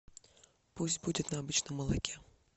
пусть будет на обычном молоке